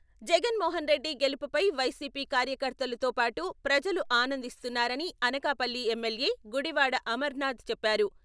జగన్ మోహన్ రెడ్డి గెలుపుపై వైసీపీ కార్యకర్తలుతో పాటు ప్రజలు ఆనందిస్తున్నారని అనకాపల్లి ఎమ్మెల్యే గుడివాడ అమర్నాథ్ చెప్పారు.